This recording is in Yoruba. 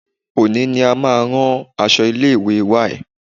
Òní ni a máa rán aṣọ ilé ìwé y.